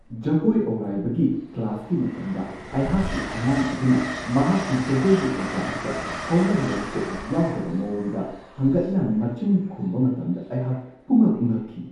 ꯖꯒꯣꯏ ꯑꯧꯔꯥꯏꯕꯒꯤ ꯀ꯭ꯂꯥꯁꯀꯤ ꯃꯇꯝꯗ ꯑꯩꯍꯥꯛꯀꯤ ꯑꯉꯥꯡ ꯑꯗꯨꯅ ꯃꯍꯥꯛꯀꯤ ꯖꯒꯣꯏꯒꯤ ꯑꯣꯖꯥ ꯑꯗꯨꯗ ꯍꯧꯅ ꯂꯣꯟꯆꯠ ꯌꯥꯎꯗꯕ ꯃꯋꯣꯡꯗ ꯍꯪꯒꯠꯅ ꯃꯆꯤꯟ ꯈꯨꯝꯕ ꯃꯇꯝꯗ ꯑꯩꯍꯥꯛ ꯄꯨꯡꯉꯛ-ꯉꯛꯈꯤ ꯫